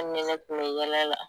ni ne kun bɛ yɛlɛ la.